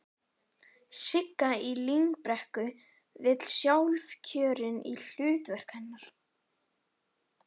Sigga í Lyngbrekku var sjálfkjörin í hlutverk hennar.